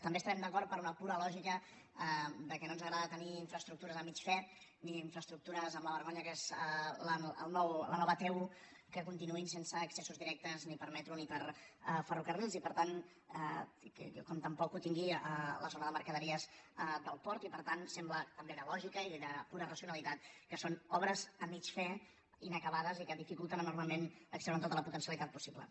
també estarem d’acord per una pura lògica que no ens agrada tenir infraestructures a mig fer ni infraestructures amb la vergonya que és la nova t un que continuïn sense accessos directes ni per metro ni per ferrocarrils i per tant com tampoc ho tingui la zona de mercaderies del port i per tant sembla també de lògica i de pura racionalitat que són obres a mig fer inacabades i que dificulten enormement extreure’n tota la potencialitat possible